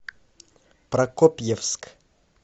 прокопьевск